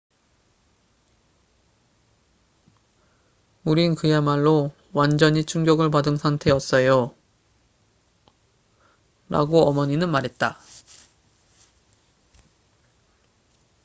"""우린 그야말로 완전히 충격을 받은 상태였어요,""라고 어머니는 말했다.